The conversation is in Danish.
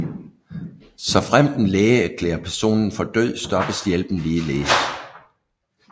Såfremt en læge erklærer personen for død stoppes hjælpen ligeledes